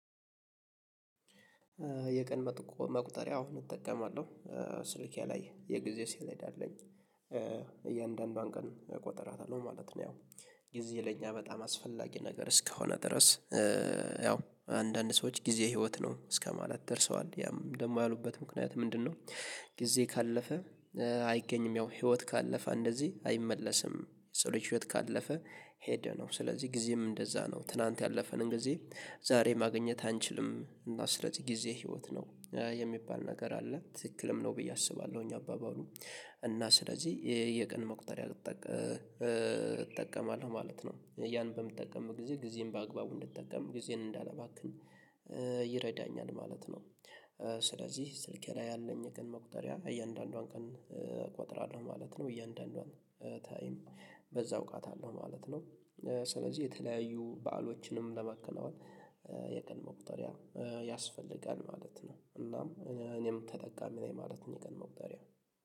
የቀን መቁጠሪያ አወ እጠቀማለሁ ስልኬ ላይ የጊዜ ሰሌዳ አለኝ እያንዳንዷን ቀን እቆጥራታለሁ ማለት ነው። ያው ጊዜ ለኛ በጣም አስፈላጊ ነገር እስከሆነ ድረስ ያው አንዳንድ ሰዎች ጊዜ ህይወት ነው እስከማለት ደርሰዋል ያም ደግሞ ያሉበት ምክንያት ምንድነው? ጊዜ ካለፈ አይገኝም ያው ህይወት ካለፈ እንደዚህ አይመለስም። የሰው ልጅ ህይወት ካለፈ ሄደ ነው። ስለዚህ ጊዜም እንደዛ ነው ትላንት ያለፈንን ጊዜ ዛሬ ማግኘት አንችልም። እና ስለዚህ ጊዜ ህይወት ነው የሚባል ነገር አለ ትክክልም ነው ብዬ አስባለሁኝ። አባባሉ እና ስለዚህ የየቀን መቁጠሪያ እጠቀማለሁ ማለት ነው። ያንን በምጠቀምም ጊዜ ጊዜን በአግባቡ እንድጠቀም ጊዜን እንዳላባክን ይረዳኛል ማለት ነው። ስለዚህ ስልኬ ላይ ያለኝ የቀን መቁጠሪያ እያንዳንዷን ቀን እቆጥራለሁ ማለት ነው። እያንዳንዷን ታይም በዛ አውቃታለሁ አለው ማለት ነው። ስለዚህ የተለያዩ በዓሎችንም ለማከናወን የቀን መቁጠሪያ ያስፈልጋል ማለት ነው። እናም እኔም ተጠቃሚ ነኝ ማለት ነው። የቀን መውጠሪያ